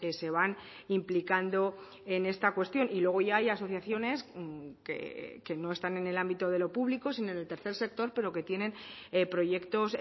se van implicando en esta cuestión y luego ya hay asociaciones que no están en el ámbito de lo público sino en el tercer sector pero que tienen proyectos